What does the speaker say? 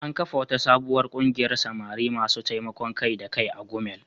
An kafa wata sabuwar kungiyar samari masu taimakon kai-da-kai a Gumel.